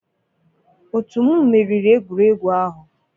otu m meriri egwuregwu ahụ.